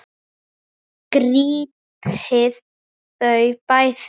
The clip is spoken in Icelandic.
Grípið þau bæði!